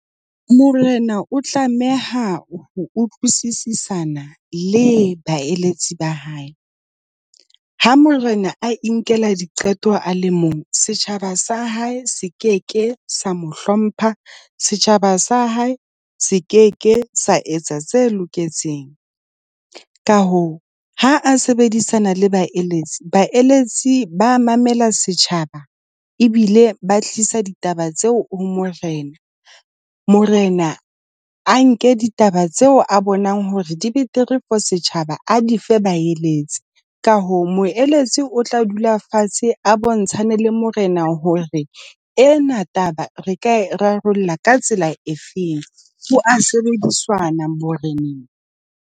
Morena o tlameha ho utlwisisana le baeletsi ba hae. Ha morena a inkela diqeto a le mong setjhaba sa hae se ke ke sa mo hlompha, setjhaba sa hae se ke ke sa etsa tse loketseng. Ka hoo ha a sebedisana le baeletsi ba mamela setjhaba ebile ba tlisa ditaba tseo ho morena. Morena a nke ditaba tseo a bonang hore dibetere for setjhaba a di fe baeletsi. Ka hoo moeletsi, o tla dula fatshe a bontshane le morena hore ena taba re ka rarollla ka tsela efeng. Ho a sebedisana moreneng.